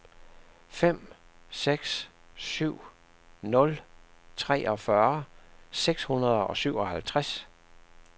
fem seks syv nul treogfyrre seks hundrede og syvoghalvtreds